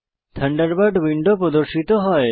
Thunderbird window প্রর্দশিত হয়